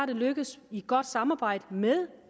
det lykkedes i et godt samarbejde med